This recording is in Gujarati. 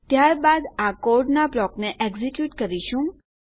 ત્યારબાદ આ કોડનાં બ્લોકને એક્ઝેક્યુટ કરીશું